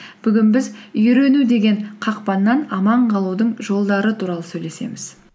бүгін біз үйрену деген қақпаннан аман қалудың жолдары туралы сөйлесеміз